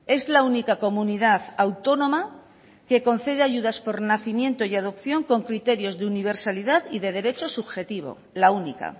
es la única comunidad autónoma que concede ayudar por nacimiento y adopción con criterios de universalidad y de derecho subjetivo la única